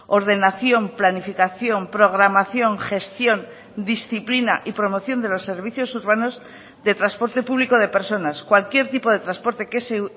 ordenación planificación programación gestión disciplina y promoción de los servicios urbanos de transporte público de personas cualquier tipo de transporte que se